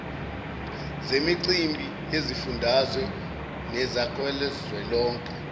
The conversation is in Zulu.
zemicimbi yezifundazwe nekazwelonke